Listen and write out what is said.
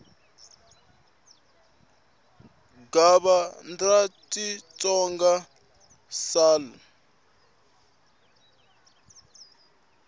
gov dra xitsonga sal p